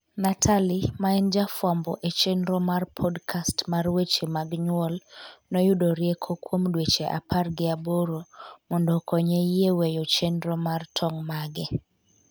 Natalie, ma en jafwambo e chenro mar podcast mar weche mag nyuol, noyudo rieko kuom dweche apar gi aboro mondo okonye yie weyo chenro mar tong' mage